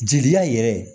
Jeli yɛrɛ